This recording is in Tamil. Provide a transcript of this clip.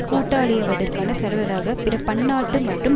கூட்டாளியாவதற்கான செலவுகளாக பிற பன்னாட்டு மற்றும்